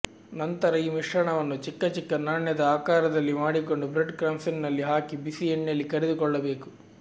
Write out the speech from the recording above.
ನಂತರ ಈ ಮಿಶ್ರಣವನ್ನು ಚಿಕ್ಕ ಚಿಕ್ಕ ನಾಣ್ಯದ ಆಕಾರದಲ್ಲಿ ಮಾಡಿಕೊಂಡು ಬ್ರೆಡ್ ಕ್ರಮ್ಪ್ಸ್ನಲ್ಲಿ ಹಾಕಿ ಬಿಸಿ ಎಣ್ಣೆಯಲ್ಲಿ ಕರಿದುಕೊಳ್ಳಬೇಕು